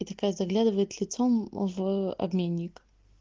и такая заглядывает лицом в обменник